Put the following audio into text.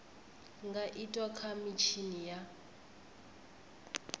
nga itwa kha mitshini ya